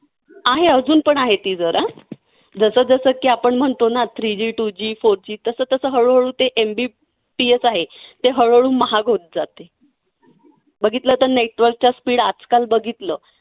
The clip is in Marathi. आहे अजून पण आहे ती जरा. जसं जसं की आपण म्हणतो ना, three G two G four G तसं तसं हळूहळू ते MBPS आहे ते हळूहळू महाग होत जातं. बघितलं तर network चा speed आजकाल बघितलं